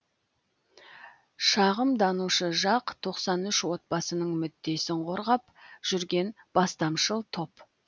шағымданушы жақ тоқсан үш отбасының мүддесін қорғап жүрген бастамашыл топ